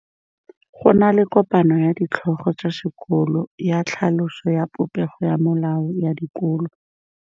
Go na le kopanô ya ditlhogo tsa dikolo ya tlhaloso ya popêgô ya melao ya dikolo.